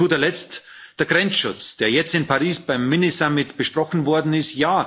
Und zu guter Letzt der Grenzschutz, der jetzt in Paris beim Minigipfel mit besprochen worden ist.